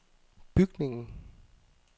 bygningen